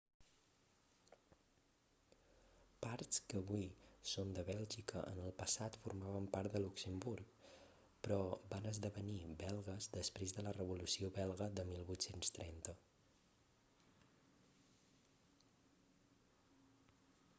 parts que avui són de bèlgica en el passat formaven part de luxemburg però van esdevenir belgues després de la revolució belga de 1830